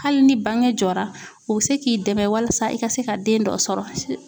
Hali ni bange jɔra o bɛ se k'i dɛmɛ walisa i ka se ka den dɔ sɔrɔ